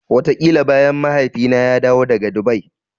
Wataƙila bayan Mahaifina ya dawo daga Dubai.